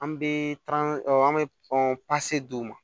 An bɛ an bɛ d'u ma